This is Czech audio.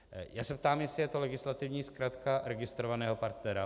Já se ptám, jestli je to legislativní zkratka registrovaného partnera.